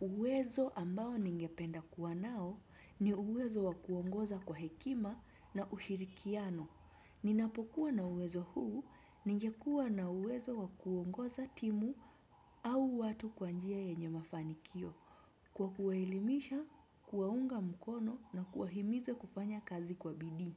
Uwezo ambao ningependa kuwa nao ni uwezo wa kuongoza kwa hekima na ushirikiano. Ninapokuwa na uwezo huu, ningekuwa na uwezo wa kuongoza timu au watu kwa njia yenye mafanikio. Kwa kuwaelimisha, kuwaunga mkono na kuwahimiza kufanya kazi kwa bidii.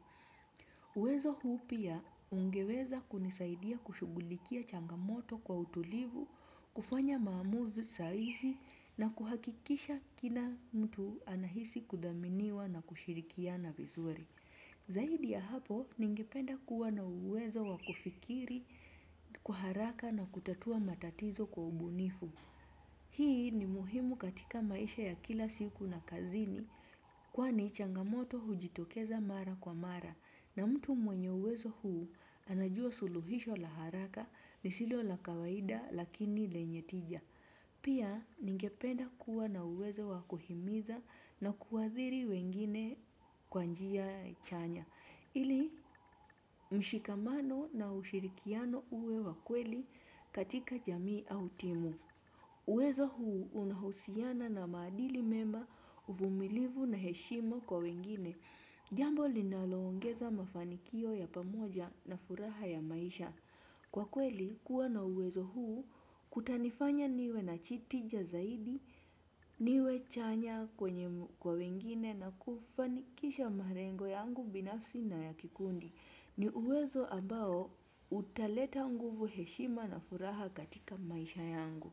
Uwezo huu pia ungeweza kunisaidia kushughulikia changamoto kwa utulivu, kufanya maamuzi sahihi na kuhakikisha kila mtu anahisi kuthaminiwa na kushirikiana vizuri. Zaidi ya hapo ningependa kuwa na uwezo wa kufikiri kwa haraka na kutatua matatizo kwa ubunifu. Hii ni muhimu katika maisha ya kila siku na kazini kwani changamoto hujitokeza mara kwa mara na mtu mwenye uwezo huu anajua suluhisho la haraka lisilo la kawaida lakini lenye tija. Pia ningependa kuwa na uwezo wa kuhimiza na kuathiri wengine kwa njia chanya ili mshikamano na ushirikiano uwe wa kweli katika jamii au timu. Uwezo huu unahusiana na maadili mema, uvumilivu na heshima kwa wengine. Jambo linaloongeza mafanikio ya pamoja na furaha ya maisha. Kwa kweli, kuwa na uwezo huu kutanifanya niwe na tija zaidi, niwe chanya kwa wengine na kufanikisha malengo yangu binafsi na ya kikundi. Ni uwezo ambao utaleta nguvu heshima na furaha katika maisha yangu.